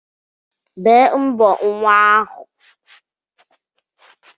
Bee mbọ nwa ahu!